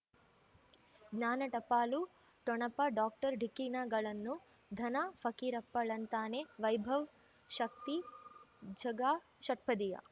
ಜ್ಞಾನ ಟಪಾಲು ಠೊಣಪ ಡಾಕ್ಟರ್ ಢಿಕ್ಕಿ ಣಗಳನು ಧನ ಫಕೀರಪ್ಪ ಳಂತಾನೆ ವೈಭವ್ ಶಕ್ತಿ ಝಗಾ ಷಟ್ಪದಿಯ